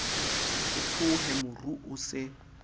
ke tshohe moru o se